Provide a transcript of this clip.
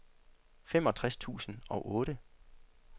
femogtres tusind og otte